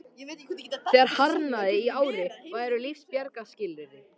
Þegar harðnaði í ári, væru lífsbjargarskilyrði